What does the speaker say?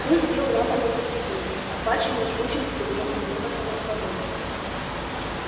клык бил лапами по стеклу охваченный жгучим стремлением вырваться на свободу